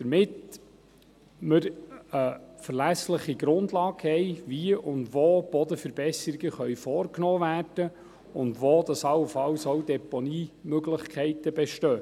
Damit hätten wir eine verlässliche Grundlage, wie und wo Bodenverbesserungen vorgenommen werden können und wo allenfalls Deponiemöglichkeiten bestehen.